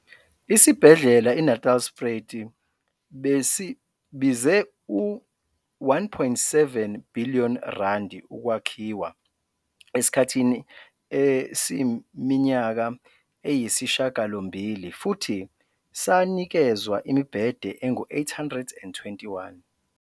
Isibhedlela iNatalspruit besibize uR1.7 billion ukwakhiwa esikhathini esiyiminyaka eyisishiyagalombili futhi sanikezwa imibhede engu-821.